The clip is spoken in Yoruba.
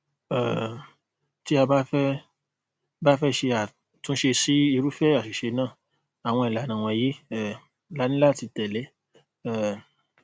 um tí a bá fẹ bá fẹ ṣe àtúnṣe sí irúfẹ àṣìṣe náà àwọn ìlànà wọnyi um laní láti tẹlẹ um